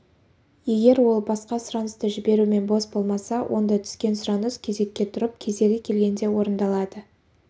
егер ол басқа сұранысты жіберумен бос болмаса онда түскен сұраныс кезекке тұрып кезегі келгенде орындалады